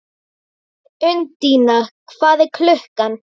Undína, hvað er klukkan?